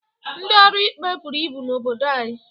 Ndị ọrụ ikpe buru ibu n'obodo anyị